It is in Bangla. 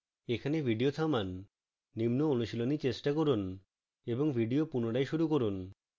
এখানে video থামান